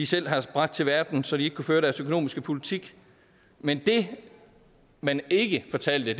selv har bragt til verden så de ikke kunne føre deres økonomiske politik men det man ikke fortalte